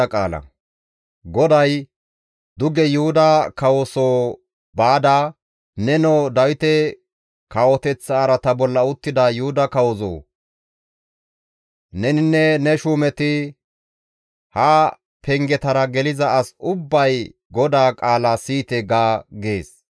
‹Nenoo Dawite kawoteththa araata bolla uttida Yuhuda kawoo! Neninne ne shuumeti, ha pengetara geliza as ubbay GODAA qaala siyite› ga» gees.